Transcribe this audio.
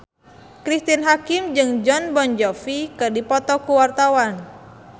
Cristine Hakim jeung Jon Bon Jovi keur dipoto ku wartawan